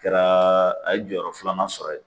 Kɛra a ye jɔyɔrɔ filanan sɔrɔ yen.